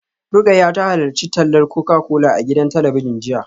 Rukayyah ta halarci tallar Coca-Cola a gidan talabijin jiya